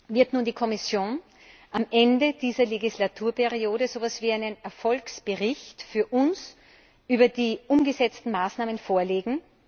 Wird nun die Kommission am Ende dieser Legislaturperiode so etwas wie einen Erfolgsbericht für uns über die umgesetzten Maßnahmen vorlegen?